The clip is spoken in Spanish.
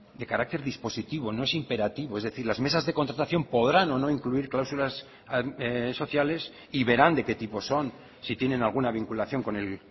de carácter dispositivo no es imperativo es decir las mesas de contratación podrán o no incluir cláusulas sociales y verán de qué tipo son si tienen alguna vinculación con el